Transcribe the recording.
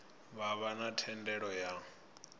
vha vha na thendelo ya